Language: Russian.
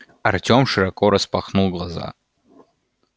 артем широко распахнул глаза